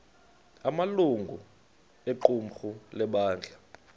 amalungu equmrhu lebandla